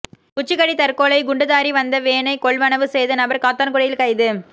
கொச்சிக்கடை தற்கொலை குண்டுதாரி வந்த வேனை கொள்வனவு செய்த நபர் காத்தான்குடியில் கைது